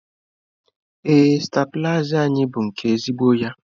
Ee stabilizer anyị bụ nke ezigbo ya.